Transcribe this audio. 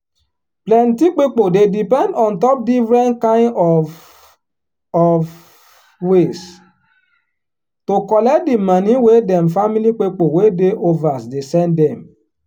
plenty pipo dey depend on top different kain of of ways to collect di moni wey dem family pipo wey dey overs dey send dem.